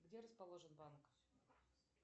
где расположен банк